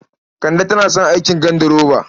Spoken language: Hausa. Kande tana son aikin ganduroba.